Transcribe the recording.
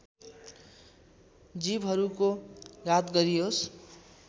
जीवहरूको घात गरियोस्